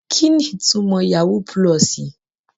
Kini itumo yahoo pulosi?